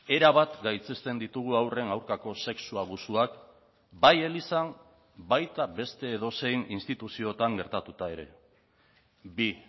erabat gaitzesten ditugu haurren aurkako sexu abusuak bai elizan baita beste edozein instituzioetan gertatuta ere bi